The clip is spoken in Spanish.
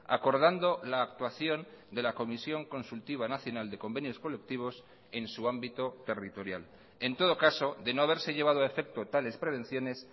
acordando la actuación de la comisión consultiva nacional de convenios colectivos en su ámbito territorial en todo caso de no haberse llevado a efecto tales prevenciones